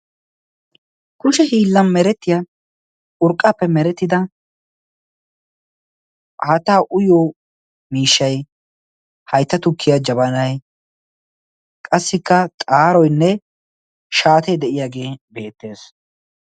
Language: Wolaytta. kushshe hiillan merettiya urqqaappe merettida aattaa uyyo miishai haitta tukkiya jabanai qassikka xaaroinne shaatee de7iyaagee beettees